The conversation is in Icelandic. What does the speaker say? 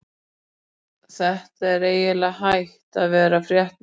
Þetta er eiginlega hætt að vera fréttnæmt!!